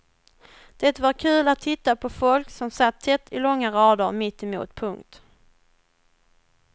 Det var kul att titta på folk som satt tätt i långa rader mitt emot. punkt